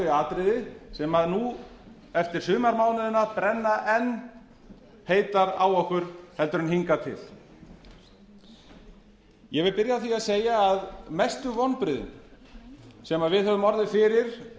þau atriði sem nú eftir sumarmánuðina brenna enn heitar á okkur heldur en hingað til ég vil byrja á því að segja að mestu vonbrigðin sem við höfum orðið fyrir